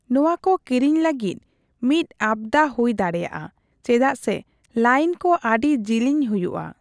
ᱱᱚᱣᱟ ᱠᱚ ᱠᱤᱨᱤᱧ ᱞᱟᱹᱜᱤᱫ ᱢᱤᱫ ᱟᱯᱫᱟ ᱦᱩᱭ ᱫᱟᱲᱮᱭᱟᱜᱼᱟ, ᱪᱮᱫᱟᱜ ᱥᱮ ᱞᱟᱹᱭᱤᱱ ᱠᱚ ᱟᱹᱰᱤ ᱡᱤᱞᱤᱧ ᱦᱩᱭᱼᱟ ᱾